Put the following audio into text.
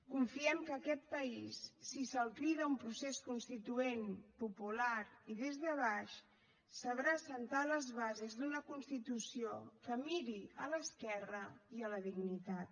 confiem que aquest país si se’l crida a un procés constituent popular i des de baix sabrà assentar les bases d’una constitució que miri a l’esquerra i a la dignitat